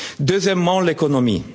en place. Deuxièmement, l'économie.